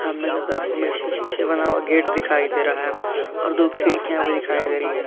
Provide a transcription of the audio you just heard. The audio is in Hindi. सामने की तरफ हमें शीशे से बना हुआ गेट दिखाई दे रहा है और दो खिड़कियां दिखाई दे रही है।